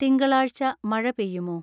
തിങ്കളാഴ്ച്ച മഴ പെയ്യുമോ